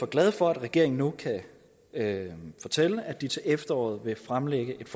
glade for at regeringen nu kan fortælle at de til efteråret vil fremlægge et